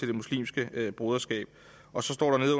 det muslimske broderskab står